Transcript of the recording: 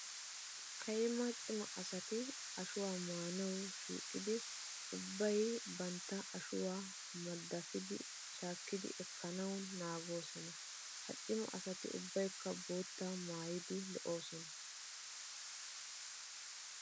Kayimma cima asati ashuwa amuwan shuqqidi ubbay bantta ashuwa maddapidi shaakkidi ekkana hanoosona. Ha cima asati ubbaykka bootta maayidi lo'osona.